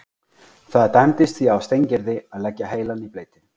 Það dæmdist því á Steingerði að leggja heilann í bleyti.